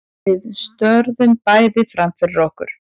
Við störum bæði framfyrir okkur.